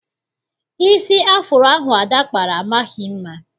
Isi afuro ahụ Ada kpara amaghị mma.